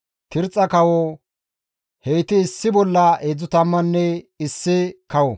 Tirxxa kawo. Heyti issi bolla 31 kawota.